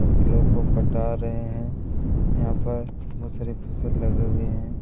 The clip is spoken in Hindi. फसलों को पटा रहे है यहाँ पर बहुत सारे फसल लगे हुए है।